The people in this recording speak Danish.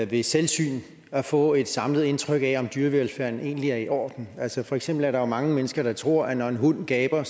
ved selvsyn at få et samlet indtryk af om dyrevelfærden egentlig er i orden altså for eksempel er der jo mange mennesker der tror at når en hund gaber er